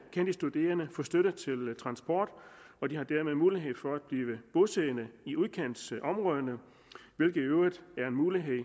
kan de studerende få støtte til transport og de har dermed mulighed for at blive bosiddende i udkantsområderne hvilket i øvrigt er en mulighed